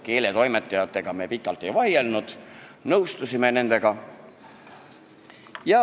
Keeletoimetajatega me pikalt ei vaielnud, nõustusime nendega.